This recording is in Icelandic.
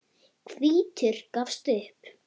Hvítur gafst upp.